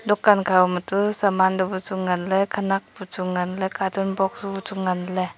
dukan khama chu saman du bu chu nganley khenak buchu nganley cartoon box buchu nganley.